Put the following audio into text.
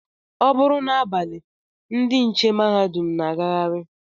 Ọ bụrụ n'abalị ndị nche mahadum na-agagharị